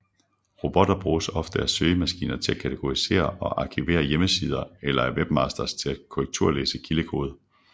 Robotter bruges ofte af søgemaskiner til at kategorisere og arkivere hjemmesider eller af webmasters til at korrekturlæse kildekode